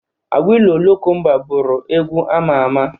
Awilo lokomba bụrụ egwu ama ama